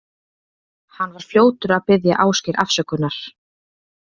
Hann var fljótur að biðja Ásgeir afsökunar.